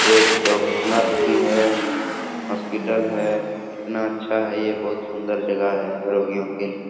एक doctor nurse भी है हॉस्पिटल है कितना अच्छा है यह बहुत सुंदर जगह है रोगियों के लिए।